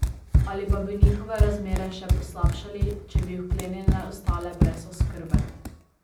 Ali pa bi njihove razmere še poslabšali, če bi vklenjene ostale brez oskrbe.